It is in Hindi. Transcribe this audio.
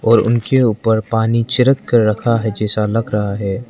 और उनके ऊपर पानी छिड़क कर रखा है जैसा लग रहा है।